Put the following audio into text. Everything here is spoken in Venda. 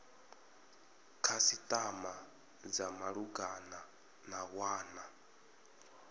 khasitama dza malugana na wana